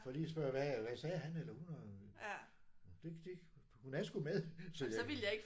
For lige at spørge hvad hvad sagde han eller hun og det det hun er sgu med så ja